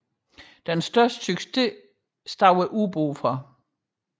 De største succes stod ubådene for